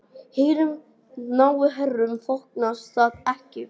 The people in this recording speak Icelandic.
Hinum háu herrum þóknast það ekki.